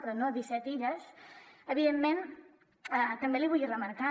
però no disset illes evidentment també l’hi vull remarcar